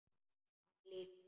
Hann líka.